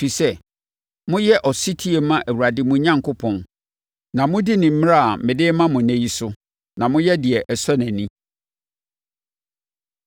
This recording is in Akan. ɛfiri sɛ, moyɛ ɔsetie ma Awurade mo Onyankopɔn, na modi ne mmara a mede rema mo ɛnnɛ yi so, na moyɛ deɛ ɛsɔ nʼani.